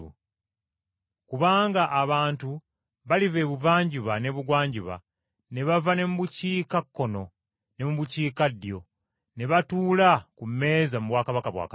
Kubanga abantu baliva ebuvanjuba n’ebugwanjuba, ne bava ne mu bukiikakkono ne mu bukiikaddyo, ne batuula ku mmeeza mu bwakabaka bwa Katonda.